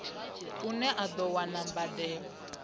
une a do wana mbadelo